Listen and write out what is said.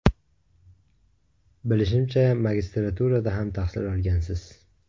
Bilishimcha, magistraturada ham tahsil olgansiz?